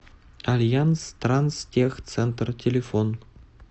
альянс транстехцентр телефон